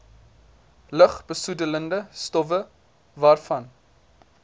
lugbesoedelende stowwe vanaf